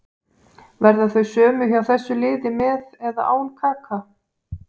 Verða þau sömu hjá þessu liði með eða án Kaka.